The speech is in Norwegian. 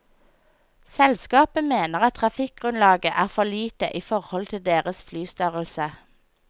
Selskapet mener at trafikkgrunnlaget er for lite i forhold til deres flystørrelse.